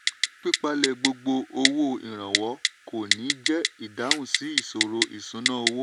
pípalẹ̀ gbogbo owó ìrànwọ́ kò ní jẹ́ ìdáhùn sí ìṣòro ìṣúnná owó.